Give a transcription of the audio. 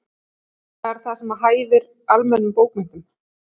Það er það sem hæfir almennilegum bókmenntum.